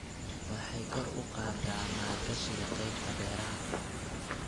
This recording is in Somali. Waxay kor u qaadaa maalgashiga qaybta beeraha.